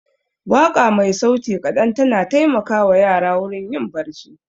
Waƙa mai sauti kaɗan ta na taimaka wa yara wurin yin barci